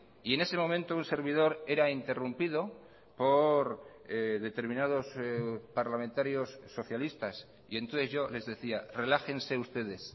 y en ese momento un servidor era interrumpido por determinados parlamentarios socialistas y entonces yo les decía relájense ustedes